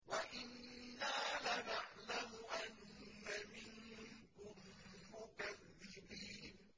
وَإِنَّا لَنَعْلَمُ أَنَّ مِنكُم مُّكَذِّبِينَ